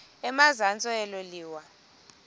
emazantsi elo liwa